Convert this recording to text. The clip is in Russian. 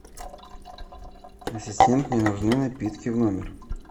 ассистент мне нужны напитки в номер